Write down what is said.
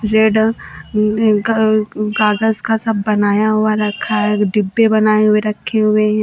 Z इन न कागज का सब बनाया हुआ रखा है एक डब्बे बनाए हुए रखे हुए हैं।